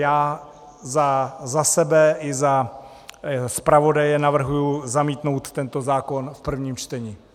Já za sebe i za zpravodaje navrhuji zamítnout tento zákon v prvním čtení.